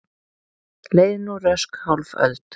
Leið nú rösk hálf öld.